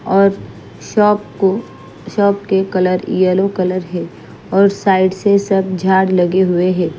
और शॉप को शॉप के कलर यलो कलर हैं और साइड से सब झाड़ लगे हुए हैं।